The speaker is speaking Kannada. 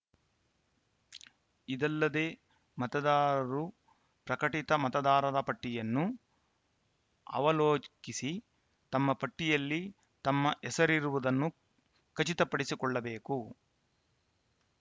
ಇದಲ್ಲದೇ ಮತದಾರರು ಪ್ರಕಟಿತ ಮತದಾರರ ಪಟ್ಟಿಯನ್ನು ಅವಲೋಕಿಸಿ ತಮ್ಮ ಪಟ್ಟಿಯಲ್ಲಿ ತಮ್ಮ ಹೆಸರಿರುವುದನ್ನು ಖಚಿತಪಡಿಸಿಕೊಳ್ಳಬೇಕು